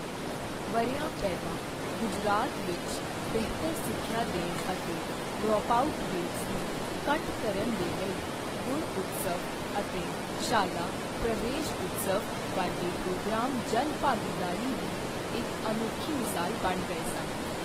ਵਰ੍ਹਿਆਂ ਪਹਿਲਾਂ ਗੁਜਰਾਤ ਵਿੱਚ ਬਿਹਤਰ ਸਿੱਖਿਆ ਦੇਣ ਅਤੇ ਡਰੋਪਆਊਟ ਰੇਟਸ ਨੂੰ ਘੱਟ ਕਰਨ ਦੇ ਲਈ ਗੁਣਉਤਸਵ ਅਤੇ ਸ਼ਾਲਾ ਪ੍ਰਵੇਸ਼ਉਤਸਵ ਵਰਗੇ ਪ੍ਰੋਗਰਾਮ ਜਨ ਭਾਗੀਦਾਰੀ ਦੀ ਇਕ ਅਨੋਖੀ ਮਿਸਾਲ ਬਣ ਗਏ ਸਨ।